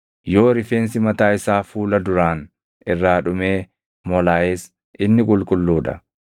Yoo rifeensi mataa isaa fuula duraan irraa dhumee molaaʼes inni qulqulluu dha.